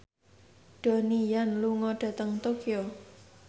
Donnie Yan lunga dhateng Tokyo